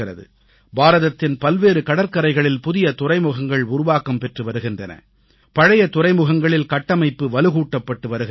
பாரதத்தின் பல்வேறு கடற்கரைகளில் புதிய துறைமுகங்கள் உருவாக்கம் பெற்று வருகின்றன பழைய துறைமுகங்களில் கட்டமைப்பு வலுகூட்டப்பட்டு வருகின்றது